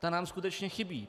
Ta nám skutečně chybí.